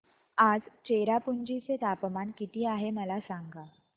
आज चेरापुंजी चे तापमान किती आहे मला सांगा